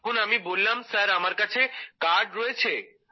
তখন আমি বললাম স্যার আমার কাছে কার্ড রয়েছে